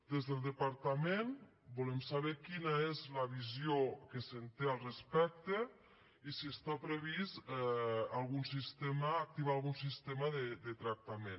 des del departament volem saber quina és la visió que se’n té al respecte i si està previst activar algun sistema de tractament